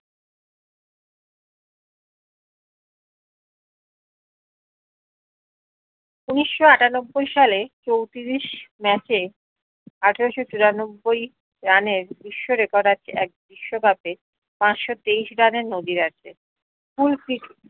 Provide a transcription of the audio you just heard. উনিশস্য আটানব্বই সালে চৌত্রিশ match এ আঠারশত চুরানব্বই run এর বিশ্ব record আছে এক বিশ্ব cup এ পাঁচশো তেইশ run এর আছে